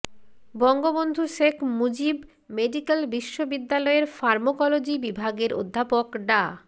Bangabandhu Sheikh Mujib medical বিশ্ববিদ্যালয়ের pharmacology বিভাগের অধ্যাপক ডা